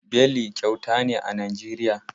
Beli kyauta ne a Nijeriya.